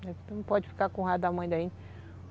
Você não pode ficar com o raiva da mãe da gente.